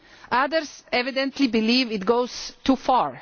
Others evidently believe it goes too far.